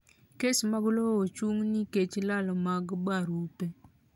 Kes mag lowo chung' nikech lal mag barupe.